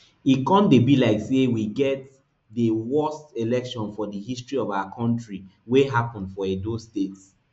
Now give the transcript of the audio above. e con dey be like say we dey get di worst election for di history of our kontri wey happun for edo state